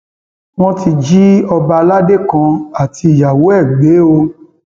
wọn ti jí ọba aládé kan àtìyàwó ẹ gbé o